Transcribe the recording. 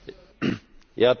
Herr Präsident!